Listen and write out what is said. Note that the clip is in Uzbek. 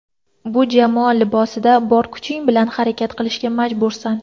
Bu jamoa libosida bor kuching bilan harakat qilishga majbursan.